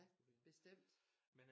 Ja bestemt